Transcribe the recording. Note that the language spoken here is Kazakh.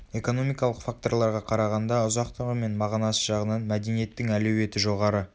экономикалық факторларға қарағанда ұзақтығы мен мағынасы жағынан мәдениеттің әлеуеті жоғары